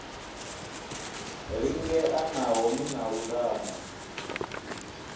lingea naho ni na lutamo